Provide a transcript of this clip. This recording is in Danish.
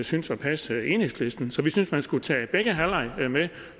synes at passe enhedslisten så vi synes man skulle tage begge halvlege med